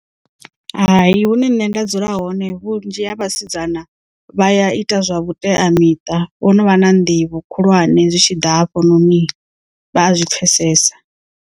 Hai hune nṋe nda dzula hone vhunzhi ha vhasidzana vha ya ita zwa vhuteamiṱa vho no vha na nḓivho khulwane zwi tshi ḓa hafhononi vha a zwipfesesa.